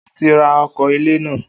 O ti ra ọkọ ilẹ na